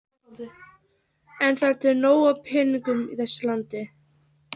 En það er til nóg af peningum í þessu landi.